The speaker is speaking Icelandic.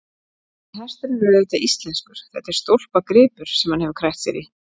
En hesturinn er auðvitað íslenskur, þetta er stólpagripur sem hann hefur krækt sér í.